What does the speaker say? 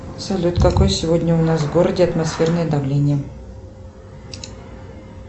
салют какое сегодня у нас в городе атмосферное давление